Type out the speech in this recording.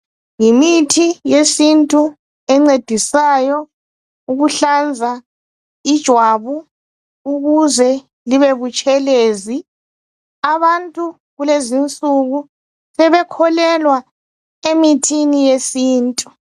Yimithi yesintu encedisayo ukuhlanza ijwabu ukuze libe butshelezi, abantu kulezinsuku sebekholelwa emithini yesintu